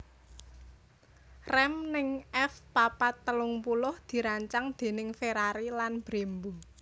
Rem ning F papat telung puluh dirancang déning Ferrari lan Brembo